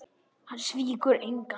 Hann svíkur engan.